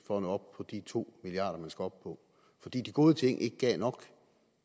for at nå op på de to milliard kr man skal op på fordi de gode ting ikke gav nok